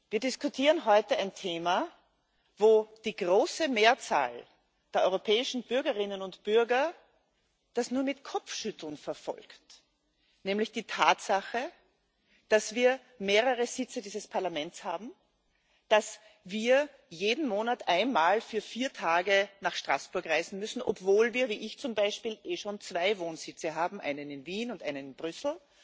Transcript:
Wir diskutieren heute ein Thema, wo die große Mehrzahl der europäischen Bürgerinnen und Bürger das nur mit Kopfschütteln verfolgt, nämlich die Tatsache, dass wir mehrere Sitze dieses Parlaments haben, dass wir jeden Monat einmal für vier Tage nach Straßburg reisen müssen, obwohl wir wie ich zum Beispiel eh schon zwei Wohnsitze haben, einen in Wien und einen in Brüssel,